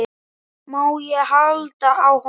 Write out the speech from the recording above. Má ég halda á honum?